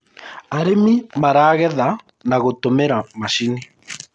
arĩmi maragetha na gutumira macinĩ